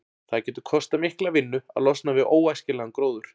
Það getur kostað mikla vinnu að losna við óæskilegan gróður.